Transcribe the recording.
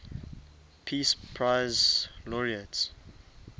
peace prize laureates